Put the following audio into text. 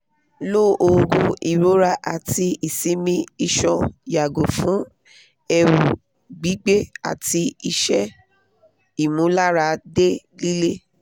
lo oogun irora ati isimi isan yago fun eru gbigbe ati ise imularade lile